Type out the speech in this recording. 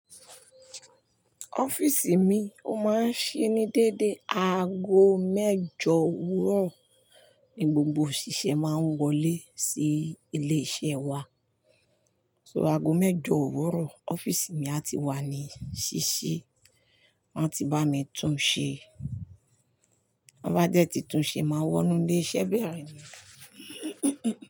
Office mi ó máa ń ṣíni dédé. Aago mẹ́jọ òwúrọ̀ ni gbogbo òṣìṣẹ́ máa ń wọlé sí ilé iṣẹ́ wa. So aago mẹ́jọ òwúrọ̀ office mi á ti wà ní ṣíṣí. Wọ́n a ti bá mi tún un ṣe. Wọ́n bá dé tí tún un ṣe, máa wọnú lé iṣẹ́ bẹ̀rẹ̀ ni.